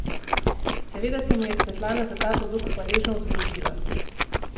Seveda se mu je Svetlana za ta poduk hvaležno oddolžila.